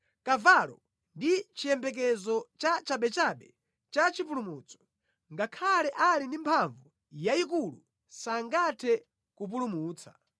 Kavalo ndi chiyembekezo cha chabechabe cha chipulumutso, ngakhale ali ndi mphamvu yayikulu sangathe kupulumutsa.